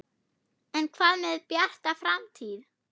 En hvað með Bjarta framtíð?